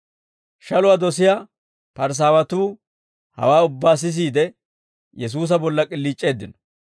Shaluwaa dosiyaa Parisaawatuu hawaa ubbaa sisiide, Yesuusa bolla k'iliic'eeddino.